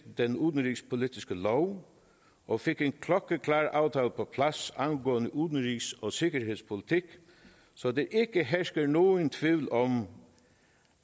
den udenrigspolitiske lov og fik en klokkeklar aftale på plads angående udenrigs og sikkerhedspolitik så der ikke hersker nogen tvivl om